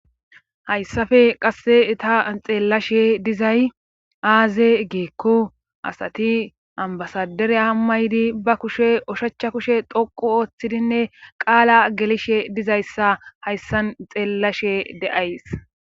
Hayssafe qasse eta xeellashe dizay aaze geekko asati ambasadere hamma ydi ba kushe oshacha kushe toqu ooththidinne qaala gelishe dizayssa hayssan xeellashe de7ays.